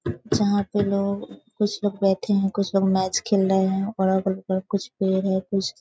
जहाँ पे लोग कुछ लोग बैठे हैं कुछ लोग मैच खेल रहें हैं और अगल-बगल कुछ पेड़ है कुछ --